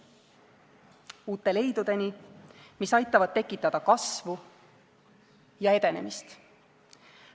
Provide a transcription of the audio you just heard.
Uute leidudeni, mis aitavad tekitada kasvu ja edenemist.